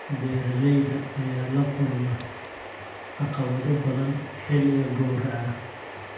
Beeralayda ayaa la kulma caqabado badan xilliga gowraca.